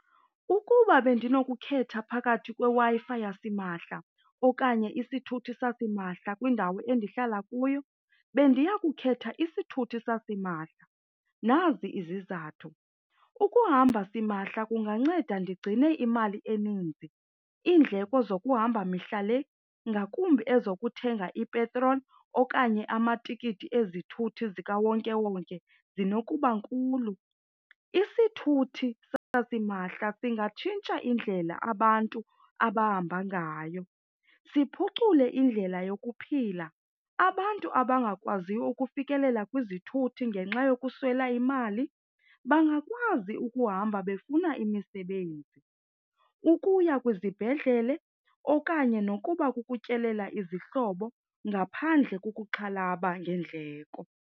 Ukuba bendinokukhetha phakathi kweWi-Fi yasimahla okanye isithuthi sasimahla kwindawo endihlala kuyo bendiya kukhetha isithuthi sasimahla. Nazi izizathu, ukuhamba simahla kunganceda ndigcine imali eninzi, iindleko zokuhamba mihla le ngakumbi ezokuthenga ipetroli okanye amatikiti ezithuthi zikawonkewonke zinokuba nkulu. Isithuthi sasimahla singatshintsha indlela abantu abahamba ngayo, siphucule indlela yokuphila. Abantu abangakwaziyo ukufikelela kwizithuthi ngenxa yokuswela imali bangakwazi ukuhamba befuna imisebenzi, ukuya kwizibhedlele okanye nokuba kukutyelela izihlobo ngaphandle kokuxhalaba ngeendleko.